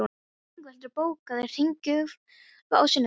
Ingveldur, bókaðu hring í golf á sunnudaginn.